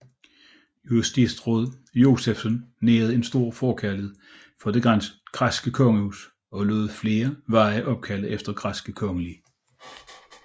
Justitsråd Josephsen nærede en stor forkærlighed for det græske kongehus og lod flere veje opkalde efter græske kongelige